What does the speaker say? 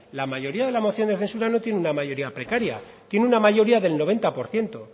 la mayoría de la moción de censura no tiene una mayoría precaria tiene una mayoría del noventa por ciento